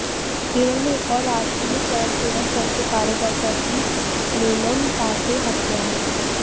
केरल में एक आैर राष्ट्रीय स्वयंसेवक संघ के कार्यकर्त्या की निर्ममतासे हत्या